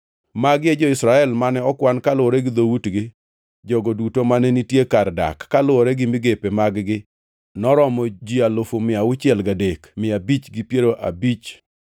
Magi e jo-Israel, mane okwan kaluwore gi dhoutgi. Jogo duto mane nitie kar dak, kaluwore gi migepe mag-gi noromo ji alufu mia auchiel gadek, mia abich gi piero abich (603,550).